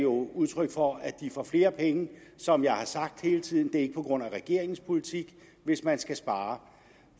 udtryk for at de får flere penge som jeg har sagt hele tiden det er ikke på grund af regeringens politik hvis man skal spare